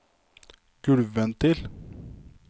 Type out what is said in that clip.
gulvventil